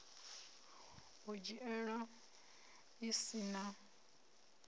u dzhiiwa a si na